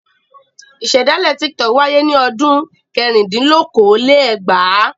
Ìṣe dálé Tiktok wáyé ní ọdún Kẹrìndínlókòó-lé-ẹgbàá..